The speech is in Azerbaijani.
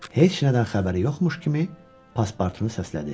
Heç nədən xəbəri yoxmuş kimi Paspartunu səslədi.